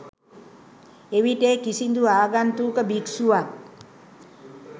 එවිට ඒ කිසිදු ආගන්තුක භික්ෂුවක්